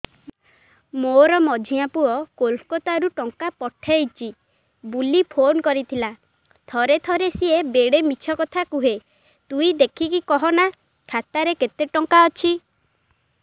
ମୋର ମଝିଆ ପୁଅ କୋଲକତା ରୁ ଟଙ୍କା ପଠେଇଚି ବୁଲି ଫୁନ କରିଥିଲା ଥରେ ଥରେ ସିଏ ବେଡେ ମିଛ କଥା କୁହେ ତୁଇ ଦେଖିକି କହନା ଖାତାରେ କେତ ଟଙ୍କା ଅଛି